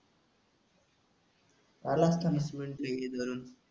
पादलास का